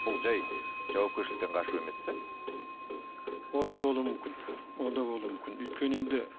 бұл жай жауапкершіліктен қашу емес пе ол да болуы мүмкін ол да болуы мүмкін өйткені енді